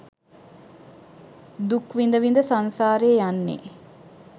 දුක් විඳ විඳ සංසාරයේ යන්නේ.